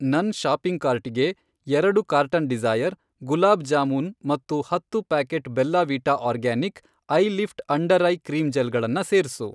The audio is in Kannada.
ನನ್ ಷಾಪಿಂಗ್ ಕಾರ್ಟಿಗೆ ಎರಡು ಕಾರ್ಟನ್ ಡಿಸೈ಼ರ್, ಗುಲಾಬ್ ಜಾಮೂನ್ ಮತ್ತು ಹತ್ತು packet Bella Vita organic, eyelift under eye cream gel ಗಳನ್ನ ಸೇರ್ಸು.